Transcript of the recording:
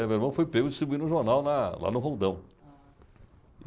É, meu irmão foi pego distribuindo o jornal na... lá no Roldão.